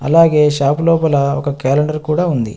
అలాగే షాపు లోపల ఒక క్యాలెండర్ కూడా ఉంది.